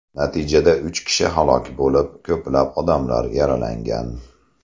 Natijada uch kishi halok bo‘lib, ko‘plab odamlar yaralangan.